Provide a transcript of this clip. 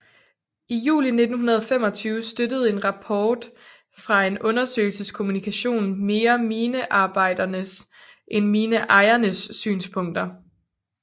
I juli 1925 støttede en rapport fra en undersøgelseskommission mere minearbejdernes end mineejernes synspunkter